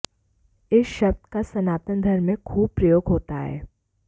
इस शब्द का सनातन धर्म में खूब प्रयोग होता है